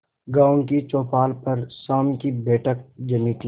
गांव की चौपाल पर शाम की बैठक जमी थी